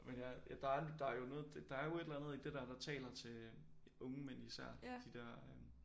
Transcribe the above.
Men ja ja der der jo noget det der jo et eller andet i dét der der taler til unge mænd især de der